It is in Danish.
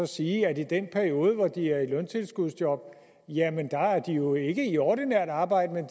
sige at i den periode hvor de er i løntilskudsjob er de jo ikke i ordinært arbejde men